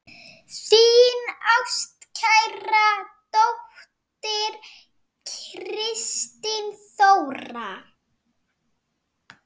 Þín ástkær dóttir, Kristín Þóra.